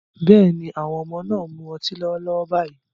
Bẹ́ẹ̀ni, àwọn ọmọ náà ń mu ọtí lọ́wọ́lọ́wọ́ báyìí